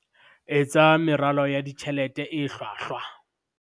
Etsa meralo ya ditjhelete e hlwahlwa